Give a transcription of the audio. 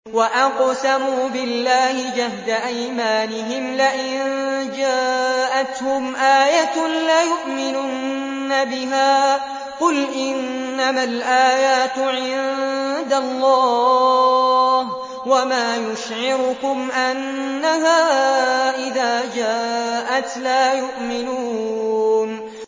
وَأَقْسَمُوا بِاللَّهِ جَهْدَ أَيْمَانِهِمْ لَئِن جَاءَتْهُمْ آيَةٌ لَّيُؤْمِنُنَّ بِهَا ۚ قُلْ إِنَّمَا الْآيَاتُ عِندَ اللَّهِ ۖ وَمَا يُشْعِرُكُمْ أَنَّهَا إِذَا جَاءَتْ لَا يُؤْمِنُونَ